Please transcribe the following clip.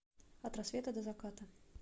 от рассвета до заката